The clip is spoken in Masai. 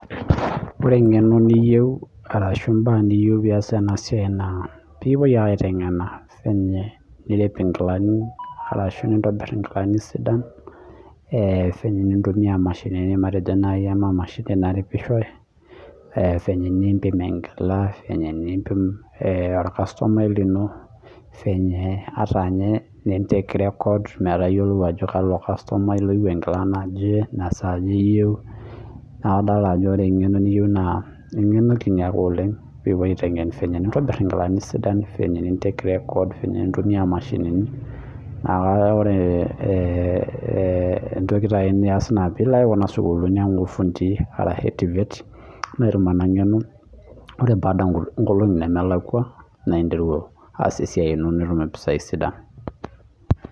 Ore eng'eno niyeu arashu ibaa niyeu pias ena siai naa pekipuo ake aiteng'ena sii ninye nirep inkilani arashu nintobir inkilani sidan sii naji intumia mashinini matejo anaa emashini naripisho sii ninye nimpim enkila sii ninye nimpim orkustomai lino fenye ninye nin take record metayoluo ajo kalo kastomai loyeu enkila naje naa saja eyeu. Naa kadol ejo ore eng'eno niyeu naa eng'eno kiti oleng' nikipoi aiteng'en fenye nintobir inkilani sidai fenye nin take record nintumia imashinini kake ore ee entoki niyas naa pilo ake kuna sukulini ang oo irfundi arashu TVETS atum ina ng'eno, oree baada inkolong'i nemelakua naa interu aas esiai ino nitum impisai sidan.